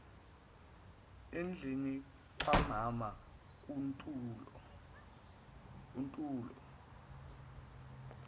endlini kamama untulo